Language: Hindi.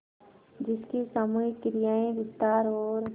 जिसकी सामूहिक क्रियाएँ विस्तार और